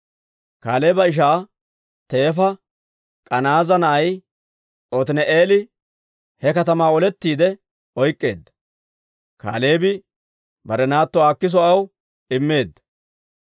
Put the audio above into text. Kaaleeba ishaa teefa K'anaaza na'ay Otini'eeli he katamaa olettiide oyk'k'eedda; Kaaleebi bare naatto Aakiso aw immeedda.